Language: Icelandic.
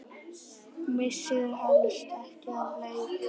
Missir helst ekki af leik.